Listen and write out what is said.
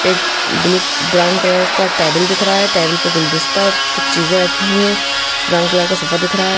एक blue brown colour का table दिख रहा है टेबल पर गुलदास्ता कुछ चीजें रखी हुई हैं ब्राउन कलर का सोफा दिख रहा है।